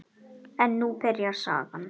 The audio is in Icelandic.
En nú byrjar sagan.